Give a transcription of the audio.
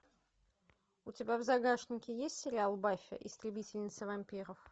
у тебя в загашнике есть сериал баффи истребительница вампиров